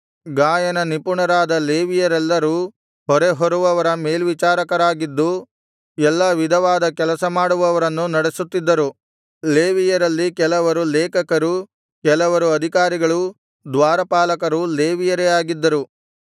ಗಾಯನ ನಿಪುಣರಾದ ಲೇವಿಯರೆಲ್ಲರೂ ಹೊರೆಹೊರುವವರ ಮೇಲ್ವಿಚಾರಕರಾಗಿದ್ದು ಎಲ್ಲಾ ವಿಧವಾದ ಕೆಲಸಮಾಡುವವರನ್ನು ನಡೆಸುತ್ತಿದ್ದರು ಲೇವಿಯರಲ್ಲಿ ಕೆಲವರು ಲೇಖಕರೂ ಕೆಲವರು ಅಧಿಕಾರಿಗಳೂ ದ್ವಾರಪಾಲಕರೂ ಲೇವಿಯರೇ ಆಗಿದ್ದರು